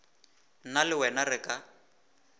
nna le wena re ka